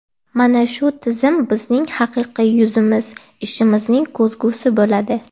Mana shu tizim bizning haqiqiy yuzimiz ishimizning ko‘zgusi bo‘ladi.